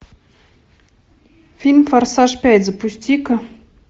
фильм форсаж пять запусти ка